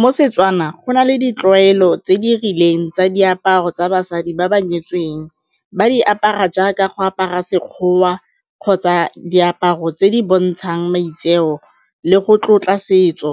Mo Setswana, go na le ditlwaelo tse di rileng tsa diaparo tsa basadi ba ba nyetsweng ba di apara jaaka go apara Sekgowa kgotsa diaparo tse di bontshang maitseo le go tlotla setso.